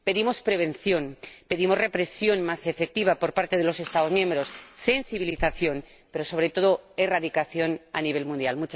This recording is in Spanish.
Pedimos prevención, pedimos represión más efectiva por parte de los Estados miembros, sensibilización pero, sobre todo, erradicación a nivel mundial.